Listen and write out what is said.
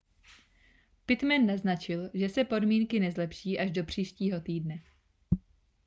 pittman naznačil že se podmínky nezlepší až do příštího týdne